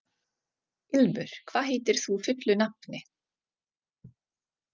Ilmur, hvað heitir þú fullu nafni?